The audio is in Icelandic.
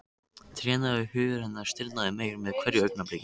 Trénaður hugur hennar stirðnaði meir með hverju augnabliki.